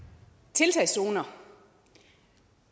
tiltagszoner